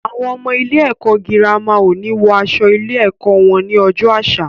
Àwọn ọmọ ilé ẹ̀kọ́ girama o ni wọ aṣọ ilé ẹ̀kọ́ wọn ni ọjọ́ àṣà